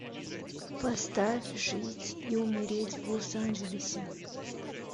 поставь жить и умереть в лос анджелесе